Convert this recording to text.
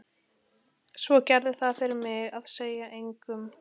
Svo gerðu það fyrir mig að segja engum.